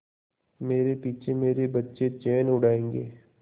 मेरे पीछे मेरे बच्चे चैन उड़ायेंगे